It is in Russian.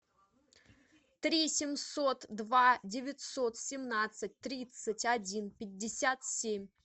три семьсот два девятьсот семнадцать тридцать один пятьдесят семь